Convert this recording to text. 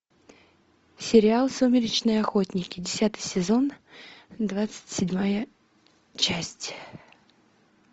сериал сумеречные охотники десятый сезон двадцать седьмая часть